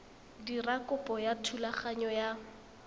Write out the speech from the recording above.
dira kopo ya thulaganyo ya